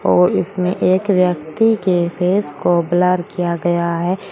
और इसमें एक व्यक्ति के फेस को ब्लर किया गया है।